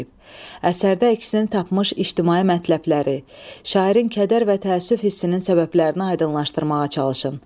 Əsərdə əksini tapmış ictimai məntəbləri, şairin kədər və təəssüf hissinin səbəblərini aydınlaşdırmağa çalışın.